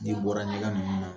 N'i bɔra ɲɛgɛn ninnu na